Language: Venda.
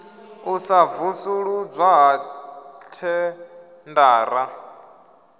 u sa vusuludzwa ha thendara